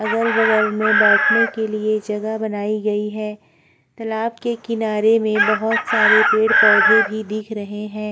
अगल-बगल बैठने के लिए जगह बनाई गई है तालाब के किनारे में बहुत सारे पेड़ पौधे भी दिख रहे है।